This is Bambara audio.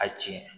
A tiɲɛ